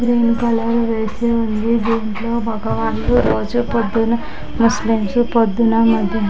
Green colour వేసి ఉంది. దింట్లో మొగవాళ్లు రోజు పొద్దున ముస్లిమ్స్ పొద్దున మధ్యాహా--